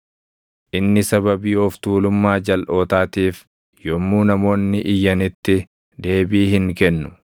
Inni sababii of tuulummaa jalʼootaatiif yommuu namoonni iyyanitti deebii hin kennu.